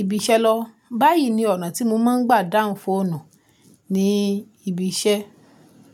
ibiṣẹ́ lọwọ. Báyìí ni ọ̀nà tí mo máa ń gbà dáhùn fóònù ní ibiṣẹ́.